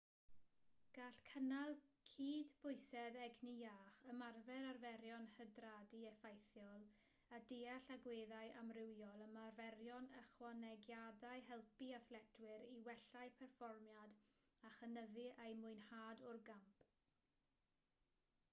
gall cynnal cydbwysedd egni iach ymarfer arferion hydradu effeithiol a deall agweddau amrywiol ymarferion ychwanegiadau helpu athletwyr i wella'u perfformiad a chynyddu eu mwynhad o'r gamp